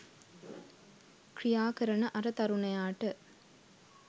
ක්‍රියාකරන අර තරුණයාට